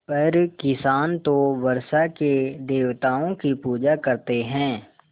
पर किसान तो वर्षा के देवताओं की पूजा करते हैं